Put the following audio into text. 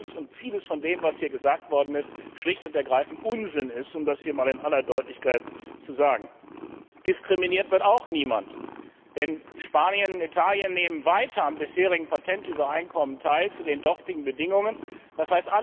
Und vieles von dem, was hier gesagt worden ist, ist schlicht und ergreifend Unsinn, um das hier einmal in aller Deutlichkeit zu sagen. Diskriminiert wird auch niemand, denn Spanien und Italien nehmen weiter am bisherigen Patentübereinkommen teil, zu den dortigen Bedingungen, d.